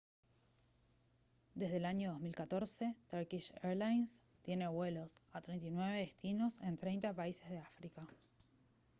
desde el año 2014 turkish airlines tiene vuelos a 39 destinos en 30 países de áfrica